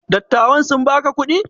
Dattawan sun baka kuɗi?